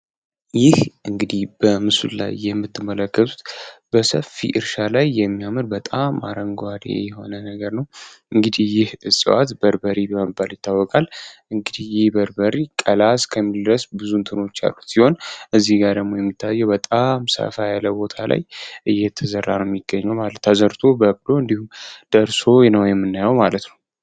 ይህ እንግዲህ በምሱል ላይ የምትመለክብት በሰፊ እርሻ ላይ የሚያምድ በጣም አረንጓዴ የሆነ ነገር ነው። እንግዲህ ይህ እጽዋት በርበሬ በመንባ ይታወቃል። እንግዲህ ይህ በርበሬ ቀላ እስከሚል ድረስ ብዙ እንትኖች ያሉት ሲሆን፤ እዚህ ጋደሙ የሚታየው በጣም ሰፋ ያለ ቦታ ላይ እየተዘራር የሚገኙ ማለት ተዘርቶ በቅሎ እንዲሁም ደርሶ ምናየው ማለት ነው።